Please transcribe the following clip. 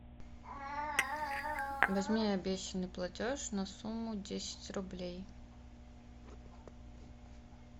возьми обещанный платеж на сумму десять рублей